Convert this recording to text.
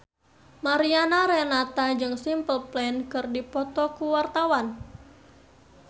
Mariana Renata jeung Simple Plan keur dipoto ku wartawan